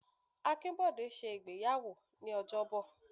Akinbode ṣe ìgbéyàwó ní ojobo.